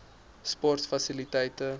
sportfasiliteite